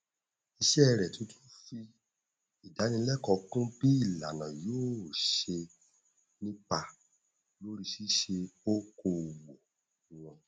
iṣẹ rẹ tuntun fi ìdánilẹkọọ kún bí ìlànà yóò ṣe nípá lórí ṣíṣe okòòwò wọn